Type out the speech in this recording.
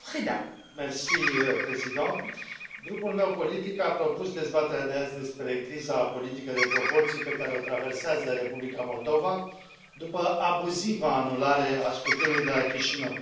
Doamnă președintă, grupul meu politic a propus dezbaterea de azi despre criza politică de proporții pe care o traversează Republica Moldova după abuziva anulare a scrutinului de la Chișinău.